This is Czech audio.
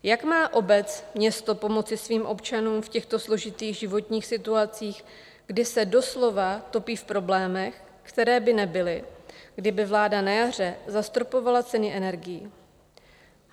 Jak má obec, město pomoci svým občanům v těchto složitých životních situacích, kdy se doslova topí v problémech, které by nebyly, kdyby vláda na jaře zastropovala ceny energií?